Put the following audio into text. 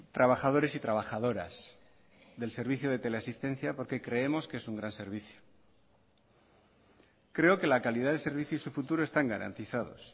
trabajadores y trabajadoras del servicio de teleasistencia porque creemos que es un gran servicio creo que la calidad de servicio y su futuro están garantizados